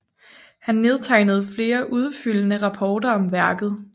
Han nedtegnede flere udfyldende rapporter om værket